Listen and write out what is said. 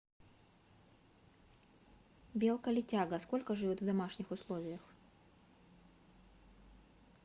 белка летяга сколько живет в домашних условиях